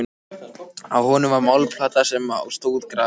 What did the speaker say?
Á honum var málmplata sem á stóð grafið